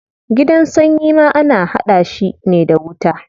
Gidan sanyi ma ana hada shi ne da wuta.